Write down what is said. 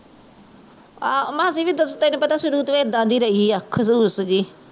ਆਹ ਮਾਸੀ ਵੀ ਓਦਾ ਤਾਂ ਤੈਨੂ ਪਤਾ ਸ਼ੁਰੂ ਤੋਂ ਇੱਦਾਂ ਦੀ ਰਹੀ ਆ ਖਦੁਸ ਜਹੀ